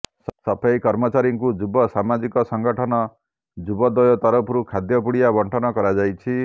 ସଫେଇ କର୍ମଚାରୀଙ୍କୁ ଯୁବ ସାମାଜିକ ସଙ୍ଗଠନ ଯୁବୋଦୟ ତରଫରୁ ଖାଦ୍ୟ ପୁଡିଆ ବଣ୍ଟନ କରାଯାଇଛି